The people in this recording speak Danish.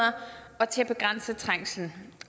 og til at begrænse trængslen